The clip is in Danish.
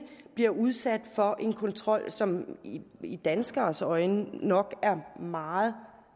bliver udsat for en kontrol som i danskeres øjne nok er meget